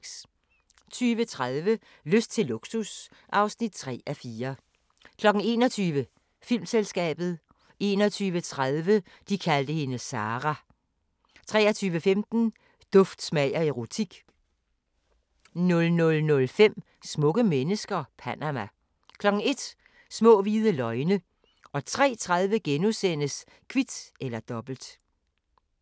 20:30: Lyst til luksus (3:4) 21:00: Filmselskabet 21:30: De kaldte hende Sarah 23:15: Duft, smag og erotik 00:05: Smukke mennesker - Panama 01:00: Små hvide løgne 03:30: Kvit eller Dobbelt *